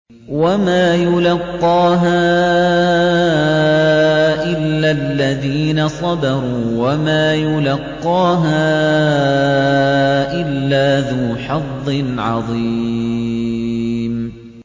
وَمَا يُلَقَّاهَا إِلَّا الَّذِينَ صَبَرُوا وَمَا يُلَقَّاهَا إِلَّا ذُو حَظٍّ عَظِيمٍ